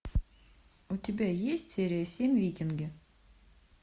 у тебя есть серия семь викинги